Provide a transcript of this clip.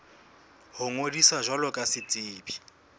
ho ngodisa jwalo ka setsebi